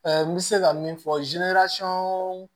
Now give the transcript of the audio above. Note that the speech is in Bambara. n bɛ se ka min fɔ